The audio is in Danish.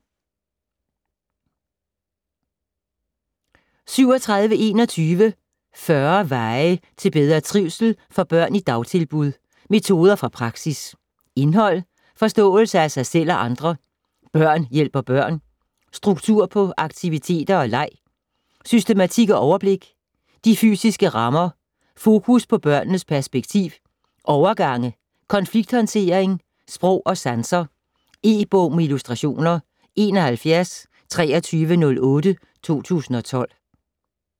37.21 40 veje til bedre trivsel for børn i dagtilbud: metoder fra praksis Indhold: Forståelse af sig selv og andre ; Børn hjælper børn ; Struktur på aktiviteter og leg ; Systematik og overblik ; De fysiske rammer ; Fokus på børnenes perspektiv ; Overgange ; Konflikthåndtering ; Sprog og sanser. E-bog med illustrationer 712308 2012.